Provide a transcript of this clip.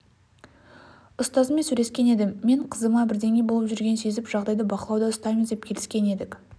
ұстазымен сөйлескен едім мен қызыма бірдеңе болып жүргенін сезіп жағдайды бақылауда ұстаймыз деп келіскен едік